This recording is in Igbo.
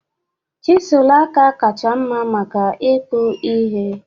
Chịzụlụ aka kacha mma maka ìkpụ̀ ihe?he?